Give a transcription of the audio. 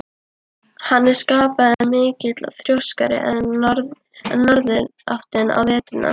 Hann er skapmaður mikill og þrjóskari en norðanáttin á veturna.